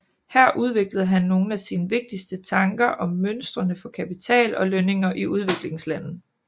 Her udviklede han nogle af sine vigtigste tanker om mønstrene for kapital og lønninger i udviklingslande